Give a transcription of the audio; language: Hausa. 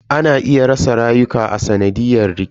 Ana iya rasa rayuka a sanadiyan rikici.